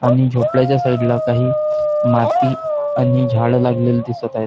आणि झोपड्याच्या साइडला काही माती आणि झाड लागलेली दिसत आहेत.